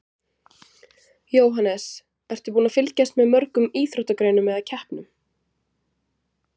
Jóhannes: Ertu búin að fylgjast með mörgum íþróttagreinum eða keppnum?